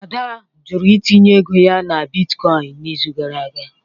Ada jụrụ itinye ego ya na bitcoin n'izu gara aga